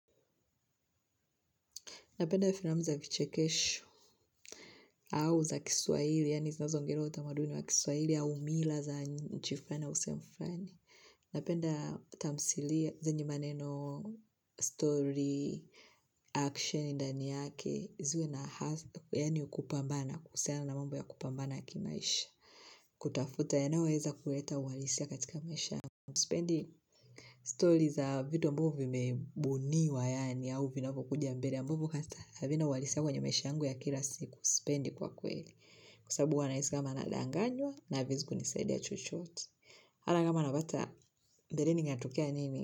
Napenda filamu za vichekesho, au za kiswahili, yaani zinazoongelea utamaduni wa kiswahili, au mila za nchi flani au sehemu flani. Napenda tamthilia zenye maneno, story, action, ndani yake, ziwe na hasa, yaani kupambana, kuhusiana na mambo ya kupambana kimaisha. Kutafuta, yanayo weza kuleta uhalisia katika maisha. Sipendi stories za vitu ambao vimebuniwa yaani au vinavokuja mbele ambavo hata havina uhalisia kwenye maisha yangu ya kila siku sipendi kwa kweli kusabu hua naisi kama nadanganywa na haviezi kunisaidia chochot ata kama na bata mbereni inatokea nini.